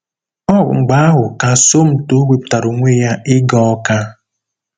Ọ bụ mgbe ahụ ka Somto wepụtara onwe ya ịga Awka.